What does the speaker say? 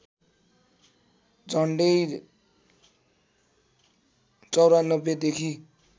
झण्डै ९४ देखि